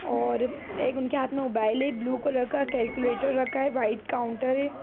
और एक उनके हाथ में मोबाइल है ब्लू कलर का कैलकुलेटर रखा है वाइट काउंटर है।